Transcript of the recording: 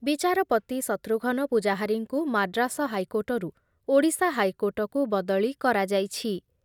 ବିଚାରପତି ଶତ୍ରୁଘନ ପୂଜାହାରୀଙ୍କୁ ମାଡ୍ରାସ ହାଇକୋର୍ଟରୁ ଓଡିଶା ହାଇକୋର୍ଟକୁ ବଦଳି କରାଯାଇଛି ।